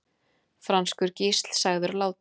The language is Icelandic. Franskur gísl sagður látinn